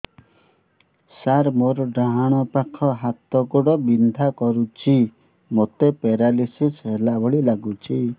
ସାର ମୋର ଡାହାଣ ପାଖ ହାତ ଗୋଡ଼ ବିନ୍ଧା କରୁଛି ମୋତେ ପେରାଲିଶିଶ ହେଲା ଭଳି ଲାଗୁଛି